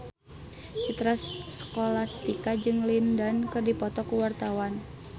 Citra Scholastika jeung Lin Dan keur dipoto ku wartawan